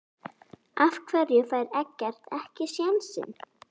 Af hverju fær Eggert ekki sénsinn?